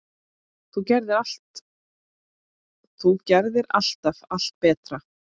Þú gerðir alltaf allt betra.